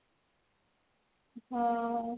ହଁ